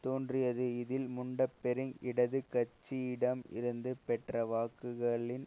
தோன்றியது இதில் முன்டபெரிங் இடது கட்சியிடம் இருந்து பெற்ற வாக்குகளின்